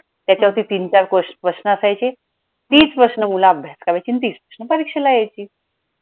त्याचावरती तीन चार ques प्रश्न असायचे तीच प्रश्न मूलं अभ्यास करायची आणि तीच प्रश्न परीक्षेला यायची.